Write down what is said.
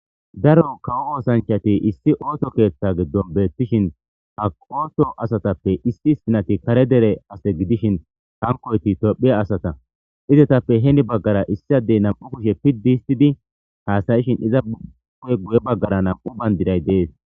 Daro kawo osanchati issi kawo keta gidon betishen ha oso asatape issi bitanezi kare dere asa gidishin hankoti itopia asata izatape hini bagara issi adey nam'u kushe pidi histidi hasa'she iza guye bagara nam'u bandiray dees.